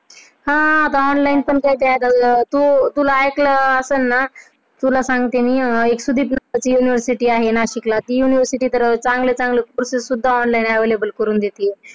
हा आता online पण करता येत अग, तू ऐकलं असेल ना, तुला सांगते मी University आहे नाशिकला ती University तर चांगले चांगले Courses पण online उपलब्ध करून देतात.